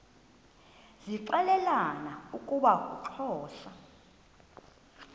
zixelelana ukuba uxhosa